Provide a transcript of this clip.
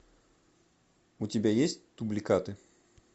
у тебя есть дубликаты